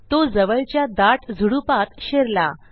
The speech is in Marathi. तो जवळच्या दाट झुडुपात शिरला